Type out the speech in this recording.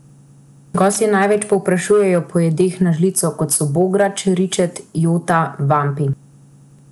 Gostje največ povprašujejo po jedeh na žlico, kot so bograč, ričet, jota, vampi ...